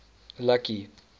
lucky